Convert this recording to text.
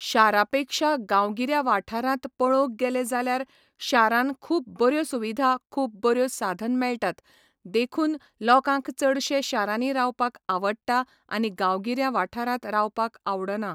शारा पेक्षा गांवगिऱ्या वाठारांत पळोवंक गेले जाल्यार शारान खूब बऱ्यो सुविधा खूब बऱ्यो साधन मेळटात देखून लोकांक चडशे शारांनी रावपाक आवडटा आनी गांवगिऱ्या वाठारांत रावपाक आवडना